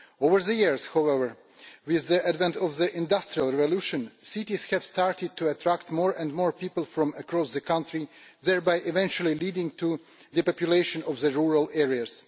Over the years, however, with the advent of the industrial revolution, cities started to attract more and more people from across the country, thereby eventually leading to depopulation of rural areas.